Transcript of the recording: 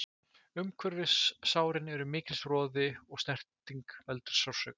Umhverfis sárin er mikill roði og snerting veldur sársauka.